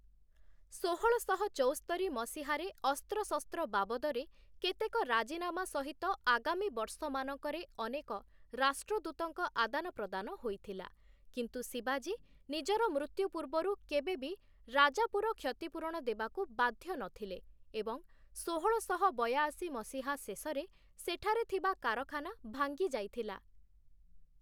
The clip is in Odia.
ଷୋହଳଶହ ଚଉସ୍ତରି ମସିହାରେ ଅସ୍ତ୍ରଶସ୍ତ୍ର ବାବଦରେ କେତେକ ରାଜିନାମା ସହିତ ଆଗାମୀ ବର୍ଷମାନଙ୍କରେ ଅନେକ ରାଷ୍ଟ୍ରଦୂତଙ୍କ ଆଦାନପ୍ରଦାନ ହୋଇଥିଲା, କିନ୍ତୁ ଶିବାଜୀ ନିଜର ମୃତ୍ୟୁ ପୂର୍ବରୁ କେବେ ବି ରାଜାପୁର କ୍ଷତିପୂରଣ ଦେବାକୁ ବାଧ୍ୟ ନଥିଲେ ଏବଂ ଷୋହଳଶହ ବୟାଅଶୀ ମସିହା ଶେଷରେ ସେଠାରେ ଥିବା କାରଖାନା ଭାଙ୍ଗି ଯାଇଥିଲା ।